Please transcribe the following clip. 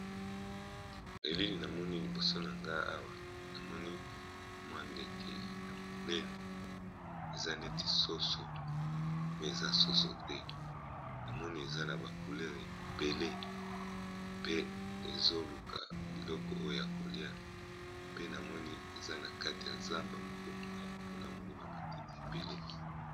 Elili namoni liboso na nga awa namoni mwa ndeke ya monene eza neti soso me eza soso te! na moni eza na ba couleure ebele pe ezoluka biloko oyo ya kolia pe namoni eza na kati ya zamba, moko molayi mpona moni ba matite ebele.